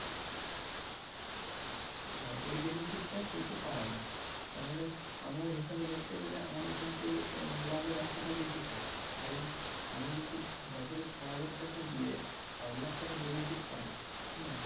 হ্যাঁ এই benefit টা কিন্তু পাওয়া যায় তাহলে আমরা হিসেবে দেখতে গেলে আমাদের কিন্তু উম লাভের অংশ টা বেশি থাকছে, কারণ আমি যদি বছরে ছয় হাজার টাকা দিয়ে পাঁচ লক্ষ টাকার benefit পাই হ্যাঁ